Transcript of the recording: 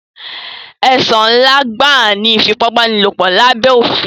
Ẹ̀sùn ńlá gbáà ni ìfipábánilòpọ̀ lábé òfin.